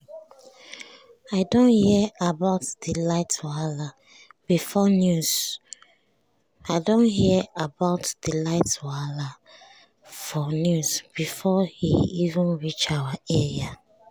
i don hear about di light wahala for news before e even reach our area.